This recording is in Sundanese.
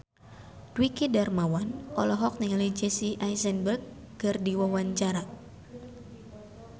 Dwiki Darmawan olohok ningali Jesse Eisenberg keur diwawancara